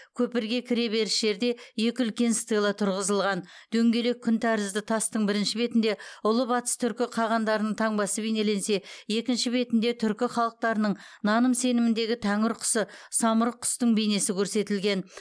көпірге кіре беріс жерде екі үлкен стела тұрғызылған дөңгелек күн тәрізді тастың бірінші бетінде ұлы батыс түркі қағандарының таңбасы бейнеленсе екінші бетінде түркі халықтарының наным сеніміндегі тәңір құсы самұрық құстың бейнесі көрсетілген